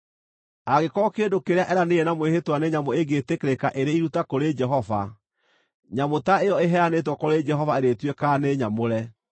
“ ‘Angĩkorwo kĩndũ kĩrĩa eeranĩire na mwĩhĩtwa nĩ nyamũ ĩngĩĩtĩkĩrĩka ĩrĩ iruta kũrĩ Jehova, nyamũ ta ĩyo ĩheanĩtwo kũrĩ Jehova ĩrĩtuĩkaga nĩ nyamũre.